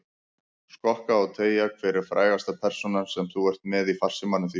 Skokka og teygja Hver er frægasta persónan sem þú ert með í farsímanum þínum?